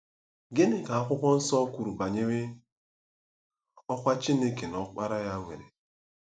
Gịnị ka Akwụkwọ Nsọ kwuru banyere ọkwá Chineke na Ọkpara ya nwere?